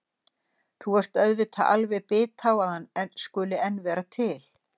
Þú ert auðvitað alveg bit á að hann skuli enn vera til.